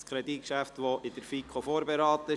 Das Kreditgeschäft wurde von der FiKo vorberaten.